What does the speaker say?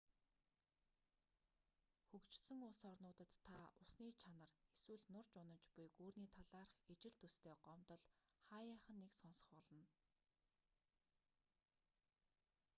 хөгжсөн улс орнуудад та усны чанар эсвэл нурж унаж буй гүүрний талаарх ижил төстэй гомдол хааяахан нэг сонсох болно